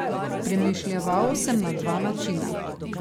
Premišljeval sem na dva načina.